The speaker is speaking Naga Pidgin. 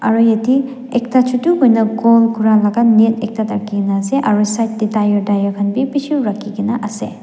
aro yati ekta chutu kuina goal kura laga net ekta thakikena ase aro side tey tire tire bi bishi rakhikena ase.